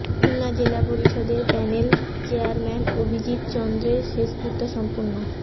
খুলনা জেলা পরিষদের panel chairman Abhijit চন্দের শেষকৃত্য সম্পন্ন